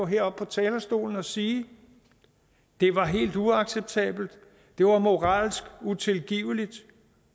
heroppe på talerstolen og sige at det var helt uacceptabelt at det var moralsk utilgiveligt